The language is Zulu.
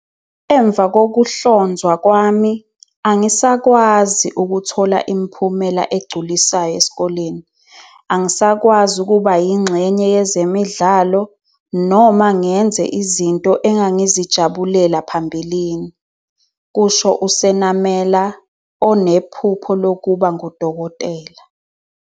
"Emva kokuhlonzwa kwami, angisakwazi ukuthola imiphumela egculisayo esikoleni. Angisakwazi ukuba yingxenye yezemidlalo noma ngenze izinto engangizijabulela phambilini," kusho uSenamela, onephupho lokuba ngudokotela.